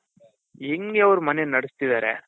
ಹೆಂಗೆ ಅವರು ಮನೆ ನಡುಸ್ತಿದ್ದಾರೆ?